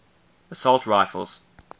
assault rifles